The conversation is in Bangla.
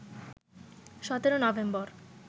১৭ নভেম্বর